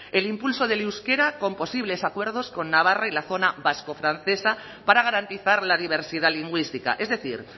el impulso del euskera con posibles acuerdos con navarra y la zona vascofrancesa para garantizar la diversidad lingüística es decir